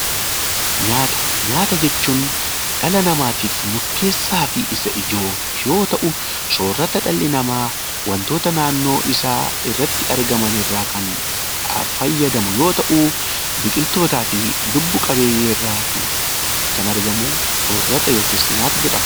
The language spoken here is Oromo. Nyaata jechuun dhala namaatiif murteessaa fi Isa ijoo yoo ta'u, soorata dhalli namaa wantoota naannoo isaarratti argamu ta'ee, walirraa kan fayyadamu yoo ta'u, biqilootaa fi lubbu-qabeeyyii irraa an argamu soorata yookiin nyaata jedhama.